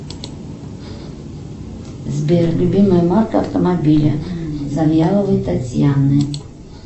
сбер любимая марка автомобиля завьяловой татьяны